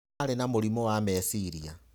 Arĩ na mũrimũ wa meciria.